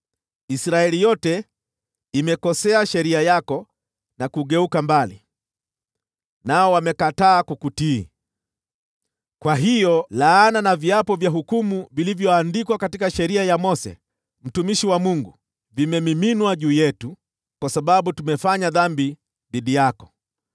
Israeli yote imekosea sheria yako na kugeuka mbali, nao wamekataa kukutii. “Kwa hiyo laana na viapo vya hukumu vilivyoandikwa katika Sheria ya Mose, mtumishi wa Mungu, vimemiminwa juu yetu, kwa sababu tumefanya dhambi dhidi yako.